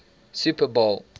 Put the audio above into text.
super bowl